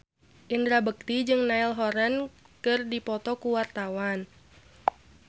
Indra Bekti jeung Niall Horran keur dipoto ku wartawan